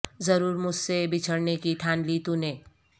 ضرور مجھ سے بچھڑنے کی ٹھان لی تو نے